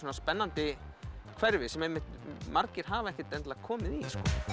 spennandi hverfi sem margir hafa ekkert endilega komið í